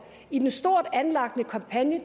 i den stort anlagte kampagne